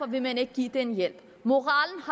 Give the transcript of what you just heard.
vil man ikke give den hjælp moralen